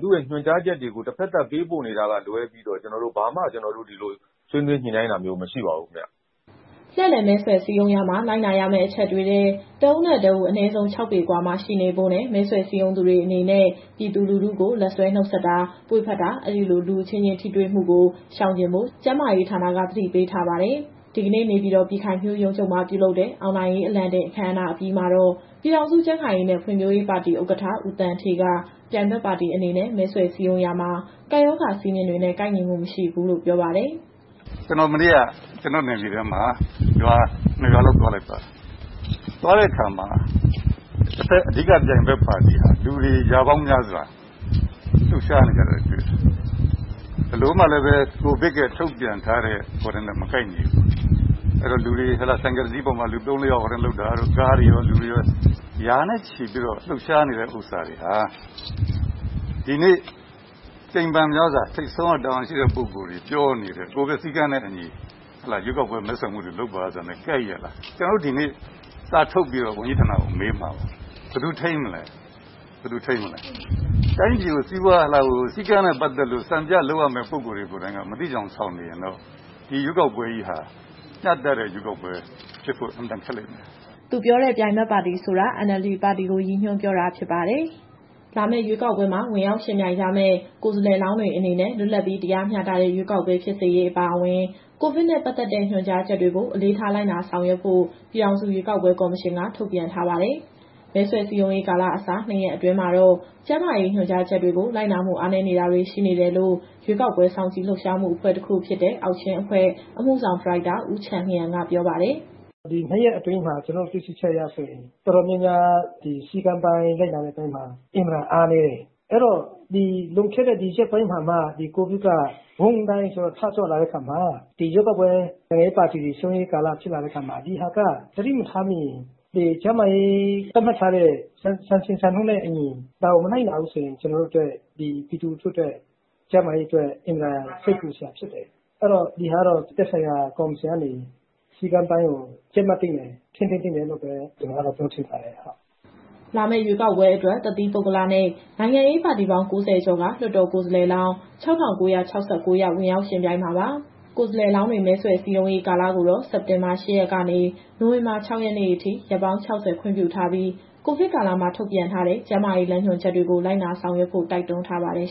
သူ့ရဲ့ ညွှန်ကြားချက်တွေကို တဖက်သတ်ပေးပို့နေတာကလွဲပြီးတော့ ဘာမှဆွေးနွေးညှိနှိုင်းတာမျိုး မရှိပါဘူးခင်ဗျ။” လှည့်လည်မဲဆွယ် စည်းရုံးရာမှာ လိုက်နာရမယ့်အချက်တွေထဲ တဦးနဲ့တဦး အနည်းဆုံး ၆ပေအကွာမှာ ရှိနေဖို့နဲ့ မဲဆွယ်စည်းရုံးသူတွေအနေနဲ့ ပြည်သူလူထုကို လက်ဆွဲနှုတ်ဆက်တာ ပွေ့ဖက်တာ၊ အဲဒီလို လူအချင်းချင်းထိတွေ့မှုကို ရှောင်ကြဉ်ဖို့ ကျန်းမာရေးဌာနက သတိပေးထားပါတယ်။ ဒီကနေ့ နေပြည်တော် ပြည်ခိုင်ဖြိုးရုံးချုပ်မှာ ပြုလုပ်တဲ့ အောင်နိုင်ရေး အလံတင်အခမ်းအနားအပြီးမှာတော့ ပြည်ထောင်စုကြံ့ခိုင်ရေးနဲ့ ဖွံ့ဖြိုးရေးပါတီဥက္ကဋ္ဌ ဦးသန်းဌေးက ပြိုင်ဘက်ပါတီအနေနဲ့ မဲဆွယ်စည်းရုံးရာမှာ ကပ်ရောဂါစည်းမျဉ်းတွေနဲ့ ကိုက်ညီမှုမရှိဘူးလို့ပြောပါတယ်။ “ကျနော် မနေ့က ကျနော့်နယ်မြေထဲမှာ ရွာ ၂ ရွာလောက် သွားလိုက်ပါတယ်။ သွားတဲ့အခါမှာ တဘက်က အဓိကပြိုင်ဘက်ပါတီဟာ လူတွေရာပေါင်းများစွာ လှုပ်ရှားနေကြတာတွေ့တယ်။ ဘယ်လိုမှလည်းပဲ ကိုဗစ်ထုတ်ပြန်ချက်တွေနဲ့ မကိုက်ညီဘူး။ ဆိုင်ကယ်တစီးပေါ်မှာ လူ ၃-၄ ယောက်၊ ကားတွေရော လူတွေရော ရာနဲ့ချီပြီးတော့ လှုပ်ရှားနေတာတွေဟာ ဒီနေ့ကြိမ်ဖန်များစွာ ထိပ်ဆုံးက တာဝန်ရှိသူတွေပြောနေတဲ့ ကိုဗစ်စည်းကမ်းနဲ့အညီ ရွေးကောက်ပွဲ မဲဆွယ်မှုတွေ လုပ်ပါဆိုတာနဲ့ ကိုက်ရဲ့လား။ ကျနော်တို့ ဒီနေ့စာထုတ်ပြီးတော့ ဝန်ကြီးဌာနကိုမေးမှာပါ - ဘယ်သူထိန်းမလဲ။ တိုင်းပြည်ကိုစည်းကမ်းနဲ့ပတ်သက်လို့ စံပြလုပ်ရမယ့်ပုဂ္ဂိုလ်တွေ ကိုယ်တိုင်က မသိချင်ယောင်ဆောင်နေရင်တော့ ဒီရွေးကောက်ပွဲကြီးဟာ မျှတတဲ့ရွေးကောက်ပွဲဖြစ်ဖို့ အင်မတန်ခက်လိမ့်မယ်။” သူပြောတဲ့ ပြိုင်ဘက်ပါတီဆိုတာ NLD ပါတီကို ရည်ညွှန်းပြောတာဖြစ်ပါတယ်။ လာမယ့်ရွေးကောက်ပွဲမှာ ဝင်ရောက်ယှဉ်ပြိုင်ကြမယ့် ကိုယ်စားလှယ်လောင်းတွေအနေနဲ့ လွတ်လပ်ပြီးတရားမျှတတဲ့ ရွေးကောက်ပွဲဖြစ်စေရေးအပါအဝင်၊ ကိုဗစ်နဲ့ ပတ်သက်တဲ့ ညွှန်ကြားချက်တွေကို အလေးထား လိုက်နာဆောင်ရွက်ဖို့ ပြည်ထောင်စုရွေးကောက်ပွဲကော်မရှင်က ထုတ်ပြန်ထားပါတယ်။ မဲဆွယ်စည်းရုံးရေးကာလအစ ၂ ရက်အတွင်းမှာတော့ ကျန်းမာရေးညွှန်ကြားချက်တွေကို လိုက်နာမှုအားနည်းတာတွေ ရှိနေတယ်လို့ ရွေးကောက်ပွဲစောင့်ကြည့် လှုပ်ရှားမှုအဖွဲ့တခုဖြစ်တဲ့ အောက်ချင်းအဖွဲ့ အမှုဆောင်ဒါရိုက်တာ ဦးချန်လျန်က ပြောပါတယ်။ “ဒီ ၂ ရက်အတွင်းမှာ ကျနော်တို့တွေ့ရှိချက်အရဆိုရင် တော်တော်များများ ဒီစည်းကမ်းလိုက်နာတဲ့အပိုင်းမှာ အင်မတန်အားနည်းတယ်။ အဲတော့ လွန်ခဲ့တဲ့ရက်ပိုင်းမှာမှာ ဒီကိုဗစ်က ဝုန်းဒိုင်းဆိုပြီး ထကြွလာတဲ့အခါမှာ ရွေးကောက်ပွဲ နိုင်ငံရေးပါတီတွေ စည်းရုံးရေးကာလဖြစ်လာတဲ့အခါမှာ ဒီဟာက သတိမထားမိရင် ကျန်းမာရေးသတ်မှတ်ထားတဲ့ စံချိန်စံညွှန်းနဲ့အညီ ဒါကိုမလိုက်နာဘူးဆိုရင် ပြည်သူလူထုအတွက် အင်မတန်စိတ်ပူစရာဖြစ်တယ်။ အဲတော့ ဒီဟာကတော့ သက်ဆိုင်ရာကော်မရှင်ကနေ စည်းကမ်းပိုင်းကို ကြပ်မတ်သင့်တယ်၊ ထိန်းသိမ်းသင့်တယ်လို့ပဲ ပြောချင်ပါတယ်။” လာမယ့်ရွေးကောက်ပွဲအတွက် တသီးပုဂ္ဂလနဲ့ နိုင်ငံရေးပါတီပေါင်း ၉၀ ကျော်က လွှတ်တော်ကိုယ်စားလှယ်လောင်း ၆,၉၆၉ ယောက် ဝင်ရောက်ယှဉ်ပြိုင်မှာပါ။ ကိုယ်စားလှယ်လောင်းတွေ မဲဆွယ်စည်းရုံးရေးကာလကိုတော့ စက်တင်ဘာ ၈ ရက်ကနေ နိုဝင်ဘာ ၆ရက်နေ့အထိ ရက်ပေါင်း ၆၀ ခွင့်ပြုထားပြီး ကိုဗစ်ကာလမှာ ထုတ်ပြန်ထားတဲ့ ကျန်းမာရေးလမ်းညွှန်ချက်တွေကို လိုက်နာဆောင်ရွက်ဖို့ တိုက်တွန်းထားပါတယ်